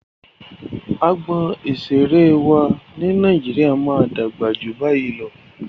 Agbọn ìseré wa ni Nàíjíríà máa dàgbà ju bayii lọ.